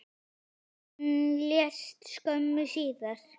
Hann lést skömmu síðar.